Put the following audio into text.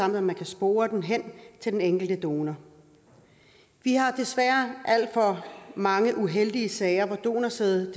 at man kan spore den til den enkelte donor vi har desværre alt for mange uheldige sager med at donorsæd